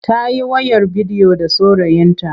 Ta yi wayar bidiyo da saurayinta.